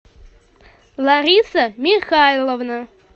лариса михайловна